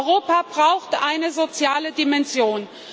Europa braucht eine soziale Dimension.